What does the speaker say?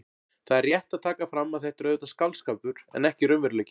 Það er rétt að taka fram að þetta er auðvitað skáldskapur en ekki raunveruleiki.